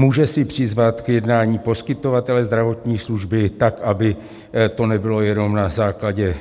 Může si přizvat k jednání poskytovatele zdravotní služby, tak aby to nebylo jenom na základně